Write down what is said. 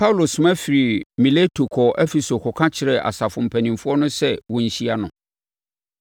Paulo soma firii Mileto kɔɔ Efeso kɔka kyerɛɛ asafo mpanimfoɔ no sɛ wɔnhyia no.